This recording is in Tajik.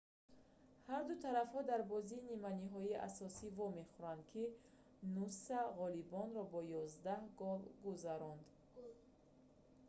ҳарду тарафҳо дар бозии нимниҳоии асосӣ вомехӯранд ки нуса ғолибонро бо 11 хол гузаронд